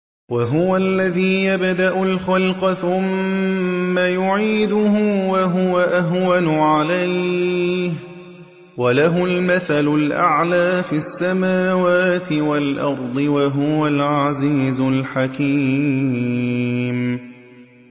وَهُوَ الَّذِي يَبْدَأُ الْخَلْقَ ثُمَّ يُعِيدُهُ وَهُوَ أَهْوَنُ عَلَيْهِ ۚ وَلَهُ الْمَثَلُ الْأَعْلَىٰ فِي السَّمَاوَاتِ وَالْأَرْضِ ۚ وَهُوَ الْعَزِيزُ الْحَكِيمُ